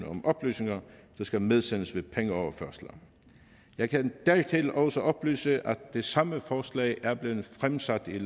om oplysninger der skal medsendes ved pengeoverførsler jeg kan dertil også oplyse at det samme forslag er blevet fremsat i